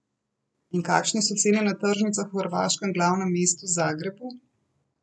In kakšne so cene na tržnicah v hrvaškem glavnem mestu, Zagrebu?